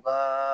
Baga